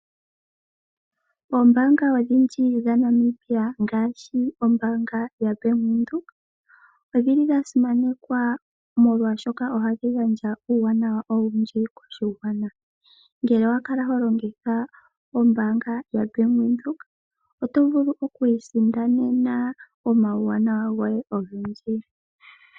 Oombaanga odhindji dhaNamibia ngaashi ombaanga yaBank Windhoek, odhi li dhasimanekwa molwaashoka ohadhi gandja uuwanawa owundji moshigwana . Ngele owakala holongitha ombaanga yoBank Windhoek, oto vulu okwiisindanena omauwanawa ogendji.